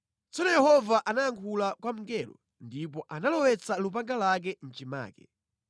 Tsono Yehova anayankhula kwa mngelo, ndipo analowetsa lupanga lake mʼchimake.